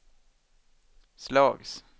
slags